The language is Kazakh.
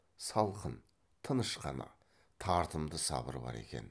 салқын тыныш қана тартымды сабыр бар екен